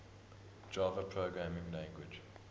java programming language